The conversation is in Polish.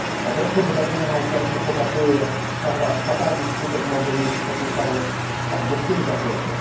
Obecne wydarzenia na Ukrainie pokazują, jak fatalny skutek może nieść opieszałość także w tym zakresie.